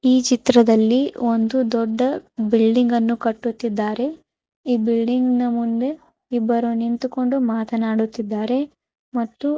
ಈ ಚಿತ್ರದಲ್ಲಿ ಒಂದು ದೊಡ್ಡ ಬಿಲ್ಡಿಂಗ್ ಅನ್ನು ಕಟ್ಟುತ್ತಿದ್ದಾರೆ ಈ ಬಿಲ್ಡಿಂಗನ ಮುಂದೆ ಇಬ್ಬರು ನಿಂತುಕೊಂಡು ಮಾತನಾಡುತ್ತಿದ್ದಾರೆ ಮತ್ತು --